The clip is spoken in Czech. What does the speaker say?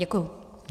Děkuji.